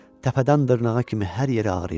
Təpədən dırnağa kimi hər yeri ağrıyırdı.